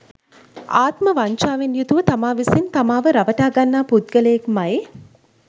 ආත්ම වංචාවෙන් යුතුව තමා විසින් තමාව රවටා ගන්නා පුද්ගලයෙක්මයි.